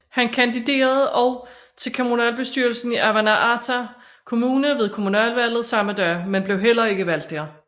Han kandiderede også til kommunalbestyrelsen i Avannaata Kommune ved kommunalvalget samme dag men blev heller ikke valgt der